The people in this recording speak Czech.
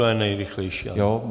To je nejrychlejší, ano.